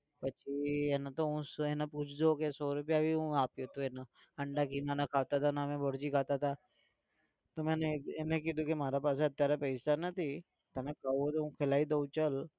પછી એને તો હું શું એને પૂછજો કે સો રૂપિયા भी હું આપ્યો હતું એને અંડા ખીમાને ખાતા હતા અને અમે ભુર્જી ખાતા હતા તો મેં એને કીધું મારા પાસે અત્યારે પૈસા નથી તો તને ખાવું હોય તો खिलाई દઉં ચાલ